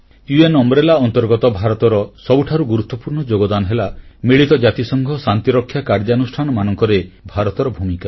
ଜାତିସଂଘ କାର୍ଯ୍ୟକ୍ରମ ଅଧୀନରେ ଭାରତର ସବୁଠାରୁ ଗୁରୁତ୍ୱପୂର୍ଣ୍ଣ ଯୋଗଦାନ ହେଲା ମିଳିତ ଜାତିସଂଘ ଶାନ୍ତିରକ୍ଷା କାର୍ଯ୍ୟାନୁଷ୍ଠାନମାନଙ୍କରେ ଭାରତର ଭୂମିକା